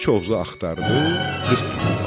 İç Oğuzu axtardı, qız tapmadı.